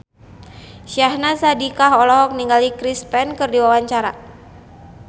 Syahnaz Sadiqah olohok ningali Chris Pane keur diwawancara